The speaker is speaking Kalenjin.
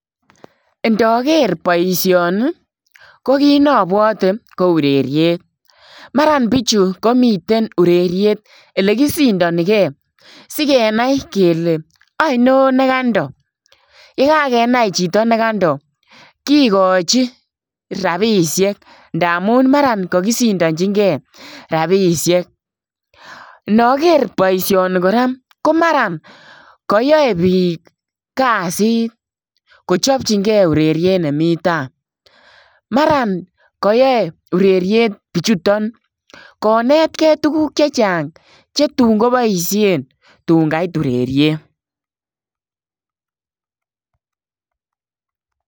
Ndaker boisioni ko kiit nebwate ko ureriet maran bichuu komiteen ureriet ele kosindanikei sigenai kele ainon nekandoo ye kagenai chitoo ne kando kigachii rapisheek ndamuun maran kagisindajinkei rapisheek nager boisioni kora ko maraan koyae biik kasiit kochapchiinkei ureriet nemii taa maran kayame ureriet bichutoon konetikei tuguuk chechaang ko tuun kobaisheen tuun kaiit ureriet.